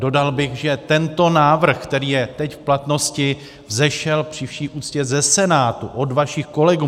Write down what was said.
Dodal bych, že tento návrh, který je teď v platnosti, vzešel při vší úctě ze Senátu, od vašich kolegů.